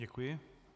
Děkuji.